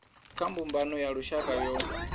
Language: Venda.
kha mbumbano ya lushaka yo